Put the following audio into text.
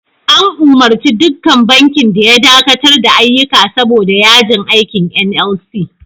An umurci dukkan bankin da ya dakatar da ayyuka saboda yajin aikin NLC.